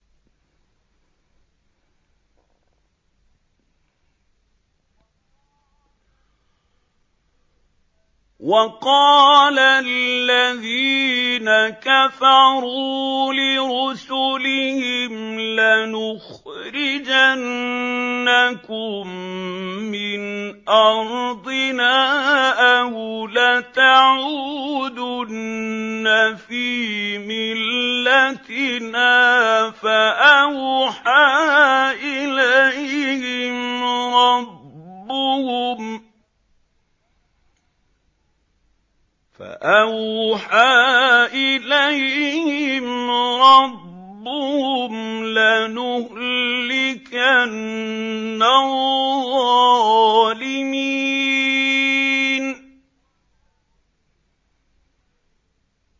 وَقَالَ الَّذِينَ كَفَرُوا لِرُسُلِهِمْ لَنُخْرِجَنَّكُم مِّنْ أَرْضِنَا أَوْ لَتَعُودُنَّ فِي مِلَّتِنَا ۖ فَأَوْحَىٰ إِلَيْهِمْ رَبُّهُمْ لَنُهْلِكَنَّ الظَّالِمِينَ